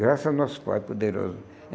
Graças ao nosso Pai Poderoso.